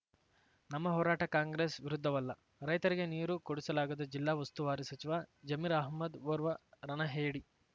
ನಮ್ಮ ಹೋರಾಟ ಕಾಂಗ್ರೆಸ್ ವಿರುದ್ಧವಲ್ಲ ರೈತರಿಗೆ ನೀರು ಕೊಡಿಸಲಾಗದ ಜಿಲ್ಲಾ ಉಸ್ತುವಾರಿ ಸಚಿವ ಜಮೀರ್ ಅಹ್ಮದ್ ಓರ್ವ ರಣಹೇಡಿ